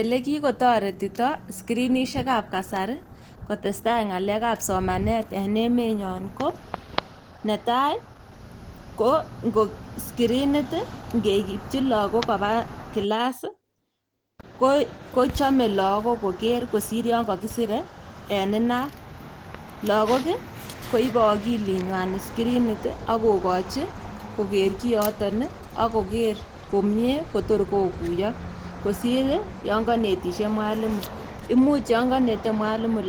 Elekikotoretito skrinisiekab kasari kotestai ng'alekab somanet en emenyon ko, netai ko ngo skirinit ii ingeipchi logok koba kilas kochome logok ngoker kosir chon kokisire en inat. Logok ii koibe okilinywan skirinit ii ak kokochi koker kioton ii ak koker komie kotor kokuyo kosir yon konete mwalimu. Imuch yon konete mwalimu